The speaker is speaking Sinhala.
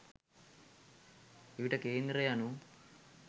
එවිට කේන්ද්‍රය යනු